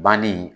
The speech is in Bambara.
Banni